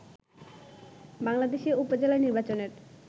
বাংলাদেশে উপজেলা নির্বাচনের